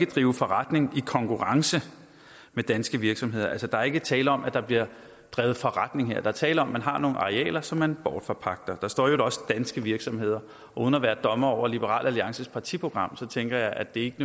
drive forretning i konkurrence med danske virksomheder at der altså ikke er tale om at der bliver drevet forretning her der er tale om at man har nogle arealer som man bortforpagter der står i øvrigt også danske virksomheder og uden at være dommer over liberal alliances partiprogram tænker jeg at det ikke